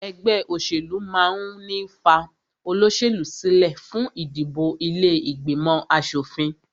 Ẹgbẹ́ òṣèlú máà ń ní fa olóṣèlú sílẹ fún ìdìbò ilé ìgbìmọ̀ aṣòfin